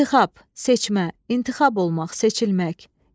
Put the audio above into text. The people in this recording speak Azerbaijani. İntixab, seçmə, intixab olmaq, seçilmək.